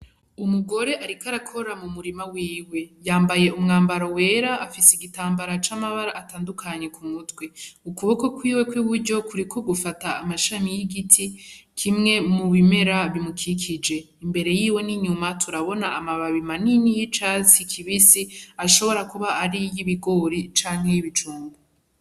Umugore ariko arakora mumurima wiwe. Yambaye umwambaro wera afise igitambara camabara atandukanye kumutwe; ukuboko kwiwe kw'iburyo kuriko gufata amashami y'igiti kimwe mubimera bimukikije. Imbere yiwe n'inyuma turabona amababi manini y'icatsi kibisi ashobora kuba arayibogori canke y'ibijumbu.